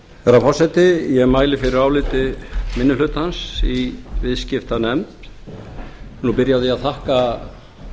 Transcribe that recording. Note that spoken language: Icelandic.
herra forseti ég mæli fyrir áliti minni hlutans í viðskiptanefnd ég vil nú byrja á því að þakka